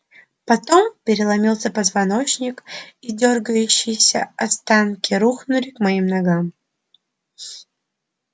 потом переломился позвоночник и дёргающиеся останки рухнули к моим ногам